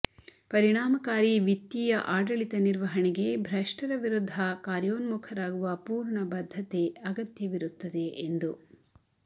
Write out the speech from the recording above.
ಪರಿಣಾಮಕಾರಿ ವಿತ್ತೀಯ ಆಡಳಿತ ನಿರ್ವಹಣೆಗೆ ಭ್ರಷ್ಟರ ವಿರುದ್ಧ ಕಾರ್ಯೋನ್ಮುಖರಾಗುವ ಪೂರ್ಣ ಬದ್ಧತೆ ಅಗತ್ಯವಿರುತ್ತದೆ ಎಂದು